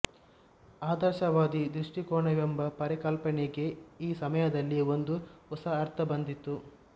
ಆದರ್ಶವಾದಿ ದೃಷ್ಟಿಕೋನ ವೆಂಬ ಪರಿಕಲ್ಪನೆಗೆ ಈ ಸಮಯದಲ್ಲಿ ಒಂದು ಹೊಸ ಅರ್ಥ ಬಂದಿತ್ತು